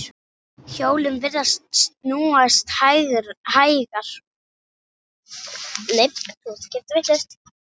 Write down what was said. Hjólin virðast snúast hægar.